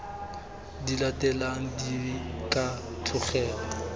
di latelang di ka tlogelwa